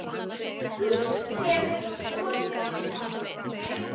Hann hefur rotað hann!